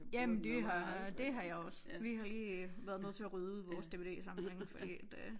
Jamen det har det har jeg også vi har lige været nødt til at rydde ud i vores dvdsamling fordi at øh